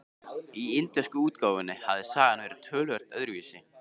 Í indversku útgáfunni hafði sagan verið töluvert öðruvísi.